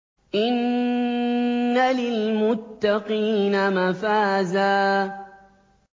إِنَّ لِلْمُتَّقِينَ مَفَازًا